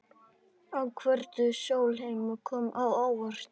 Ákvörðun Sólheima kom á óvart